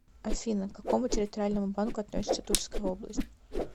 афина к какому территориальному банку относится тульская область